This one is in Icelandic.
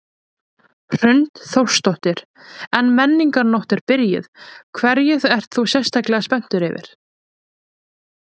Hrund Þórsdóttir: En Menningarnótt er byrjuð, hverju ert þú sérstaklega spenntur yfir?